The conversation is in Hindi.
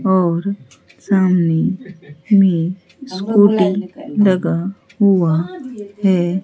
और सामने में स्कूटी लगा हुआ है।